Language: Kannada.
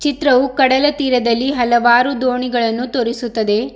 ಚಿತ್ರವು ಕಡಲ ತೀರದಲ್ಲಿ ಹಲವಾರು ದೋಣಿಗಳನ್ನು ತೋರಿಸುತ್ತದೆ.